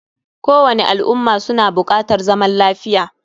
Kowani al umma suna bukatar zaman lafiya